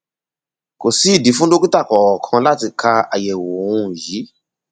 kò sí ìdí fún dókítà kankan láti ka àyẹwò um yìí